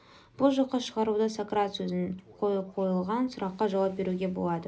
бұл жоққа шығаруда сократ сөзін қойып қойылған сұраққа жауап беруге болады